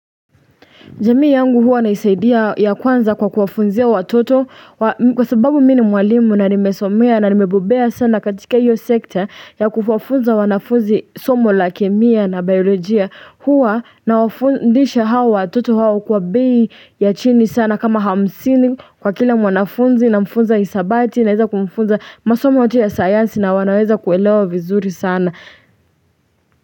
Jamii yangu huwa naisaidia ya kwanza kwa kuwafunzia watoto Kwa sababu mi ni mwalimu na nimesomea na nimebobea sana katika iyo sekta ya kuwafunza wanafunzi somo la kemia na biolojia Huwa nawafundisha hawa watoto hawa kwa bei ya chini sana kama hamsini kwa kila mwanafunzi namfunza hisabati Naweza kumfunza masomo yote ya sayansi na wanaweza kuelewa vizuri sana.